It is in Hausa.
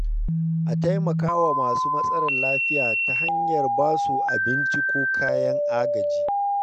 A taimaka wa masu matsalar lafiya ta hanyar basu abinci ko kayan agaji.